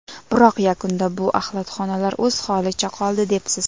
Biroq yakunda bu axlatxonalar o‘z holicha qoldi” debsiz.